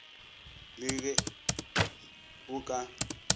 ii le ge o ka